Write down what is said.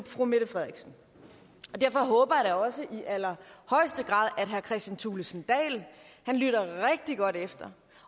fru mette frederiksen derfor håber jeg da også i allerhøjeste grad at herre kristian thulesen dahl lytter rigtig godt efter